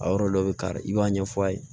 A yɔrɔ dɔ bɛ kari i b'a ɲɛfɔ a ye